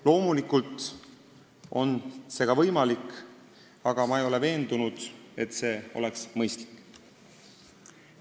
Loomulikult on see võimalik, aga mina ei ole veendunud selle mõistlikkuses.